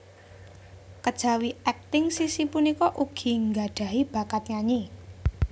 Kejawi akting Sissy punika ugi nggadhahi bakat nyanyi